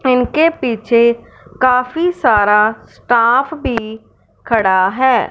इनके पीछे काफी सारा स्टाफ भी खड़ा है।